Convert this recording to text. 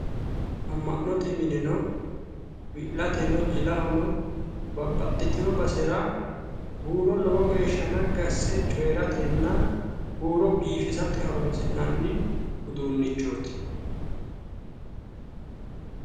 Amma'note mineno wi'lateno jilahono babbaxxitino basera huuro lowo geeshsha naggi asse coyiratenna huuro biifisate horoonsi'nanni uduunnichooti.